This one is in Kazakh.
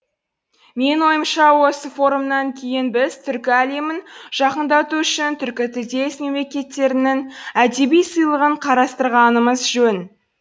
менің ойымша осы форумнан кейін біз түркі әлемін жақындату үшін түркітілдес мемлекеттерінің әдеби сыйлығын қарастырғанымыз жөн